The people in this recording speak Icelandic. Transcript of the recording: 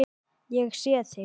Ég sé þig.